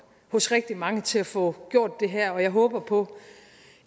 hos rigtig mange til at få gjort det her og jeg håber på